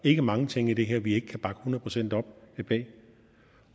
ikke mange ting i det her vi ikke kan bakke hundrede procent op det